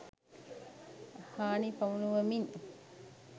හානි පමුණුවමින්